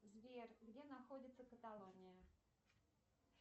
сбер где находится каталония